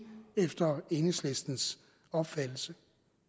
efter enhedslistens opfattelse